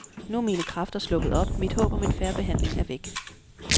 Nu er mine kræfter sluppet op, mit håb om en fair behandling er væk.